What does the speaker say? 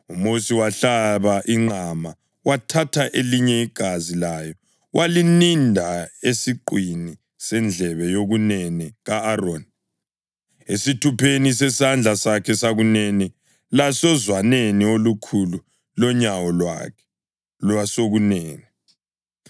UMosi wahlaba inqama, wathatha elinye igazi layo walininda esiqwini sendlebe yokunene ka-Aroni, esithupheni sesandla sakhe sokunene lasozwaneni olukhulu lonyawo lwakhe lwesokunene.